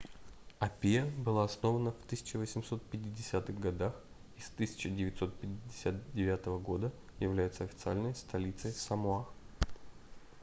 апиа была основана в 1850-х годах и с 1959 года является официальной столицей самоа